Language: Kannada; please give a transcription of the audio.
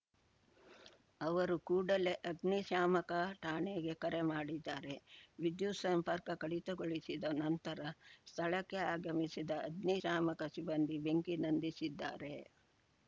ಅವರು ಕೂಡಲೇ ಅಗ್ನಿ ಶಾಮಕ ಠಾಣೆಗೆ ಕರೆ ಮಾಡಿದ್ದಾರೆ ವಿದ್ಯುತ್‌ ಸಂಪರ್ಕ ಕಡಿತಗೊಳಿಸಿದ ನಂತರ ಸ್ಥಳಕ್ಕೆ ಆಗಮಿಸಿದ ಅಗ್ನಿಶಾಮಕ ಸಿಬ್ಬಂದಿ ಬೆಂಕಿ ನಂದಿಸಿದ್ದಾರೆ